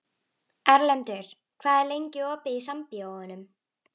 Erlendur, hvað er lengi opið í Sambíóunum?